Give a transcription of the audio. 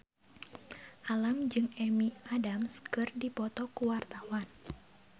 Alam jeung Amy Adams keur dipoto ku wartawan